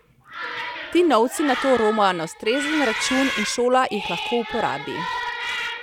Ti novci nato romajo na ustrezen račun in šola jih lahko uporabi.